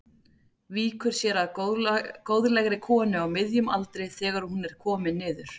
Víkur sér að góðlegri konu á miðjum aldri þegar hún er komin niður.